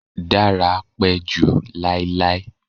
Dara pẹ ju lailai